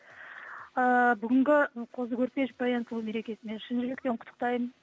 ыыы бүгінгі қозы көрпеш баянсұлу мерекесімен шын жүректен құттықтаймын